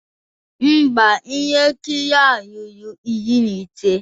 Mba, ihe nkiri a ruru iri na ise